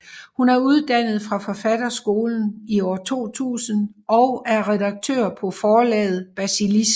Hun er uddannet fra Forfatterskolen 2000 og er redaktør på Forlaget Basilisk